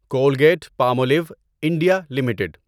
Colgate Palmolive India limited